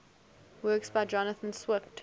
works by jonathan swift